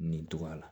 Nin togoya la